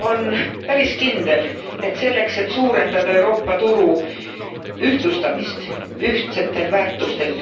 On päris kindel, et selleks, et suurendada Euroopa turu ühtlustamist, ühtsetel väärtustel